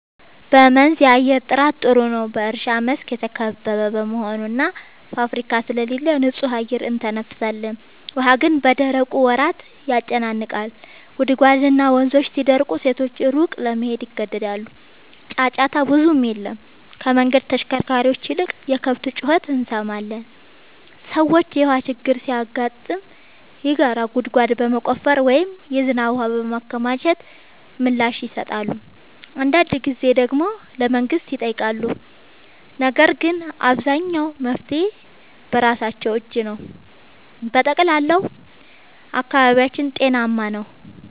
በመንዝ የአየር ጥራት ጥሩ ነው፤ በእርሻ መስክ የተከበበ በመሆኑ እና ፋብሪካ ስለሌለ ንጹህ አየር እንተነፍሳለን። ውሃ ግን በደረቁ ወራት ያጨናንቃል፤ ጉድጓድና ወንዞች ሲደርቁ ሴቶች ሩቅ ለመሄድ ይገደዳሉ። ጫጫታ ብዙም የለም፤ ከመንገድ ተሽከርካሪዎች ይልቅ የከብት ጩኸት እንሰማለን። ሰዎች የውሃ ችግር ሲገጥም የጋራ ጉድጓድ በመቆፈር ወይም የዝናብ ውሃ በማከማቸት ምላሽ ይሰጣሉ። አንዳንድ ጊዜ ደግሞ ለመንግሥት ይጠይቃሉ፤ ነገር ግን አብዛኛው መፍትሔ በራሳቸው እጅ ነው። በጠቅላላው አካባቢያችን ጤናማ ነው።